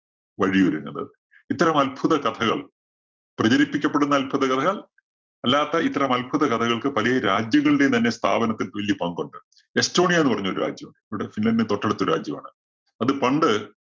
വഴിയൊരുങ്ങുന്നത്. ഇത്തരം അത്ഭുത കഥകള്‍ പ്രചരിപ്പിക്കപ്പെടുന്ന അത്ഭുത കഥകള്‍ അല്ലാത്ത ഇത്തരം അത്ഭുതകഥകള്‍ക്ക് പലേ രാജ്യങ്ങളുടെയും തന്നെ സ്ഥാപനത്തില്‍ വല്ല്യ പങ്കുണ്ട്. എസ്റ്റോണിയ എന്ന് പറഞ്ഞൊരു രാജ്യം നമ്മുടെ ഫിൻലാൻഡിന്റെ തൊട്ടടുത്ത രാജ്യമാണ്. അതിൽ പണ്ട്